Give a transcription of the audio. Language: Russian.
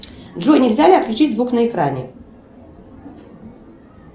джой нельзя ли отключить звук на экране